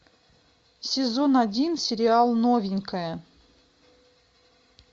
сезон один сериал новенькая